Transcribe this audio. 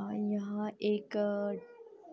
अ यहाँ एक